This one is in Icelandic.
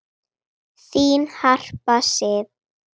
Þín Harpa Sif.